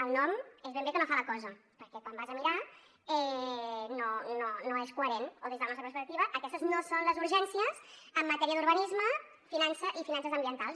el nom és ben bé que no fa la cosa perquè quan ho vas a mirar no és coherent o des de la nostra perspectiva aquestes no són les urgències en matèria d’urbanisme i finances ambientals